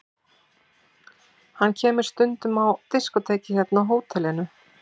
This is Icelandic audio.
Hann kemur stundum á diskótekið hérna á hótelinu.